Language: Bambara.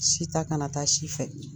Si ta kana taa si fɛ.